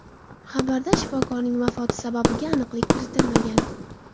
Xabarda shifokorning vafoti sababiga aniqlik kiritilmagan.